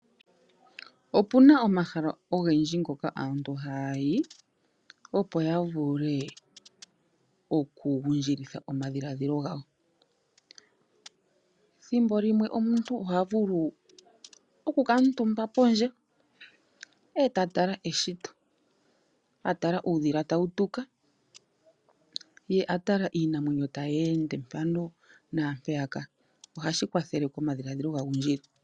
Opuna omahala ogendji ngoka aantu haya yi opo yavule okugundjilitha omadhilaadhilo gawo, thimbo limwe omuntu oha vulu okukaatumba pondje eta tala eshito, atala uudhila tawu tuka ye a tala iinamwenyo tayi ende mpano naampeyaka, ohashi kwathele omadhiladhilo ga gundjile.